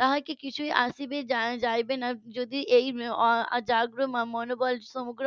তার কিছুই আসবে যাবে না যদি এই জাগ্রত মনোবল সমগ্র